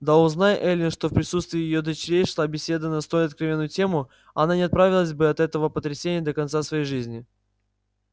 да узнай эллин что в присутствии её дочерей шла беседа на столь откровенную тему она не оправилась бы от этого потрясения до конца своей жизни